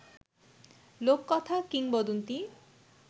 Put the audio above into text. লোককথা, কিংবদন্তি